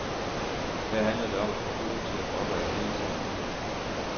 Her handler det om at få kurven til at gå opad hele tiden.